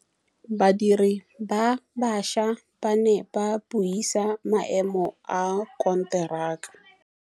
Badiri ba baša ba ne ba buisa maêmô a konteraka.